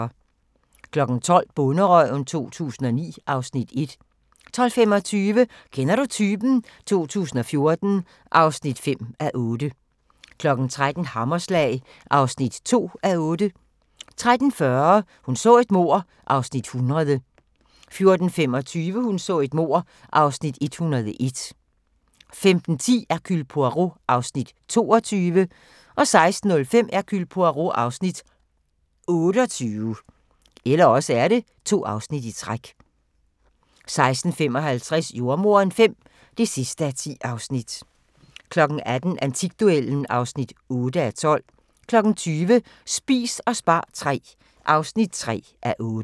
12:00: Bonderøven 2009 (Afs. 1) 12:25: Kender du typen? 2014 (5:8) 13:00: Hammerslag (2:8) 13:40: Hun så et mord (100:268) 14:25: Hun så et mord (101:268) 15:10: Hercule Poirot (Afs. 22) 16:05: Hercule Poirot (Afs. 28) 16:55: Jordemoderen V (10:10) 18:00: Antikduellen (8:12) 20:00: Spis og spar III (3:8)